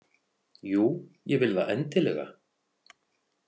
Jú, ég vil það endilega.